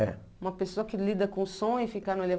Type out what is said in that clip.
É. Uma pessoa que lida com o som e ficar no